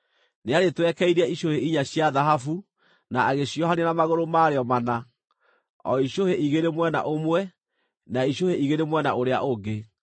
Nĩarĩtwekeirie icũhĩ inya cia thahabu na agĩciohania na magũrũ marĩo mana, o icũhĩ igĩrĩ mwena ũmwe na icũhĩ igĩrĩ mwena ũrĩa ũngĩ.